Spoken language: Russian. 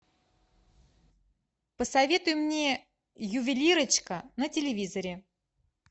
посоветуй мне ювелирочка на телевизоре